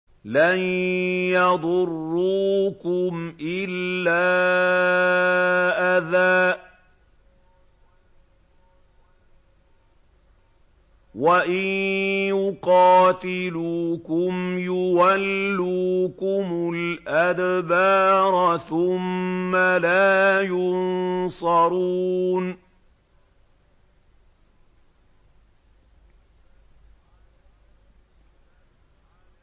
لَن يَضُرُّوكُمْ إِلَّا أَذًى ۖ وَإِن يُقَاتِلُوكُمْ يُوَلُّوكُمُ الْأَدْبَارَ ثُمَّ لَا يُنصَرُونَ